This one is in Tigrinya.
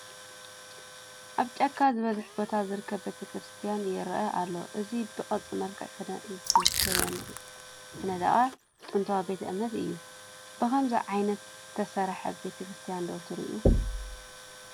ኣብ ጫካ ዝበዝሖ ቦታ ዝርከብ ቤተ ክርስትያን ይረአ ኣሎ፡፡ እዚ ብቅርፂ መልክዕ ዝተነደቐ ጥንታዊ ቤተ እምነት እዩ፡፡ ብኸምዚ ዓይነት ዝሰርሐ ቤተክርስትያን ዶ ትሪኡ?